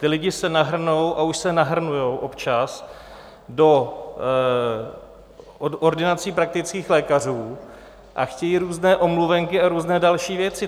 Ti lidé se nahrnou - a už se nahrnují občas - do ordinací praktických lékařů a chtějí různé omluvenky a různé další věci.